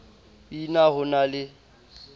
p na ho na le